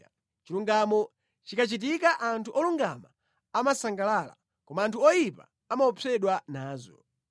Chilungamo chikachitika anthu olungama amasangalala, koma anthu oyipa amaopsedwa nazo.